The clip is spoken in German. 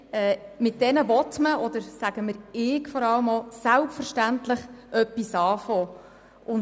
Nein, mit diesen Zahlen will man, oder vor allem auch ich, selbstverständlich etwas tun.